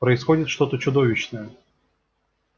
происходит что-то чудовищное